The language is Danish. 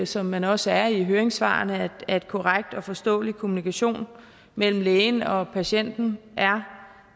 som man også er i høringssvarene at korrekt og forståelig kommunikation mellem lægen og patienten er